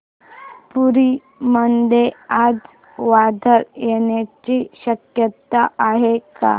पुरी मध्ये आज वादळ येण्याची शक्यता आहे का